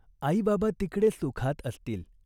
आईबाबा तिकड़े सुखात असतील.